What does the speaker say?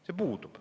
See puudub.